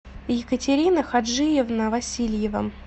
екатерина хаджиевна васильева